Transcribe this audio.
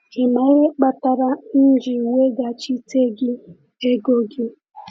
“Ị ma ihe kpatara m ji weghachite gị ego gị?”